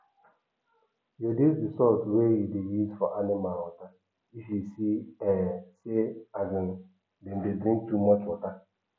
reduce d salt wey u dey use for animal water if you see um say um dem dey drink too much water